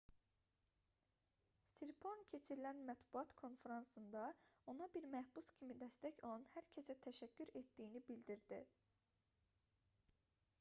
siriporn keçirilən mətbuat konfransında ona bir məhbus kimi dəstək olan hər kəsə təşəkkür etdiyini bildirdi